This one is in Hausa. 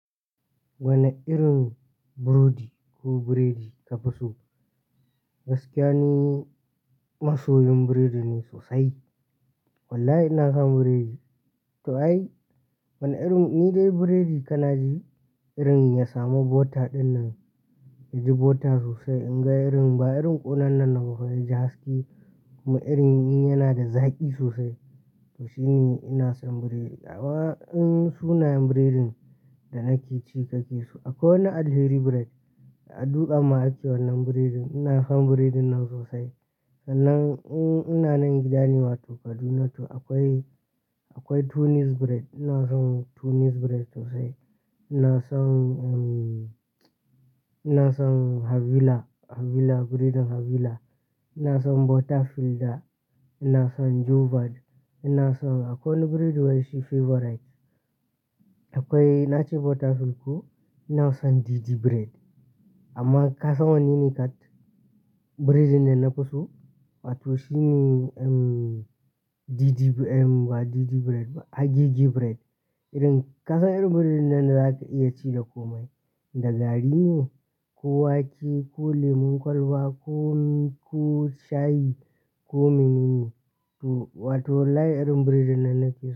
Wane irin burodi ko biredi ka fi so? Gaskiya ni, masoyin biredi ne sosai. Wallahi ina son biredi. To ai, wane irin? Ni dai biredi ka na ji irin ya samu butter dinnan, yaji butter sosai. In ga irin, ba irin ƙonannan na fa in ji haske, kuma irin yana da zaƙi sosai. To shine ina son biredi. Amma in sunayen biredin da nake ci kake so. Akwai wani Alheri Bread, a dutsin ma ake wannan biredin. Ina son biredin nan sosai. Sannan ina nan gida ne wato Kaduna too. Akwai, akwai Tunis Bread. Ina son Tunis Bread sosai. Ina son, um, ina son Havilah, Havilah, biredin Havilah. Ina son Butterfielda. Ina son Jobad. Ina son akwai wani biredi wai shi favorite. Akwai na ce Butterfield ko. Ina son DD Bread. Amma ka san wanne ne kat biredin da na fi so? Wato shine, um, DD, um, ba DD Bread ba, a Gigi Bread. Irin ka san irin biredin nan zaka iya ci da komai. Da gari ne ko wake ko lemun kwalba ko, ko shayi ko menene. To, wato wallahi irin biredin nan nake so.